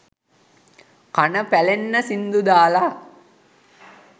කන පැලෙන්න සිංදු දාලා